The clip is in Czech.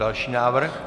Další návrh.